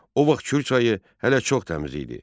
O vaxt Kür çayı hələ çox təmiz idi.